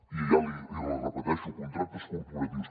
i l’hi repeteixo contractes corporatius